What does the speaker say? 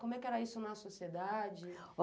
Como é que era isso na sociedade?